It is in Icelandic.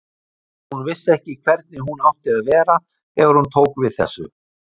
Hún vissi ekki hvernig hún átti að vera þegar hún tók við þessu.